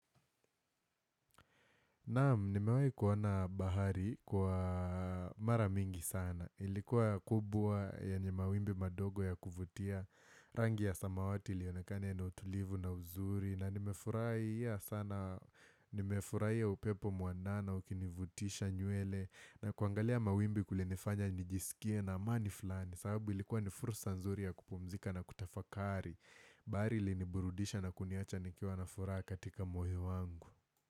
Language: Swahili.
Naam, nimewahi kuona bahari kwa mara mingi sana. Ilikuwa kubwa yenye mawimbi madogo ya kuvutia. Rangi ya samawati iliyonekana ya utulivu na uzuri. Na nimefurahia sana, nimefurahia ya upepo mwanana, ukinivutisha nywele. Na kuangalia mawimbi kulinifanya nijisikie na amani fulani. Sababu ilikuwa ni fursa nzuri ya kupumzika na kutafakari. Bahari iliniburudisha na kuniacha nikiawa nafuraha katika moyo wangu.